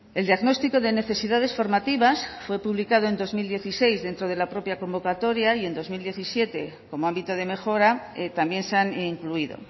el diagnóstico de necesidades formativas fue publicado en dos mil dieciséis dentro de la propia convocatoria y en dos mil diecisiete como ámbito de mejora también se han incluido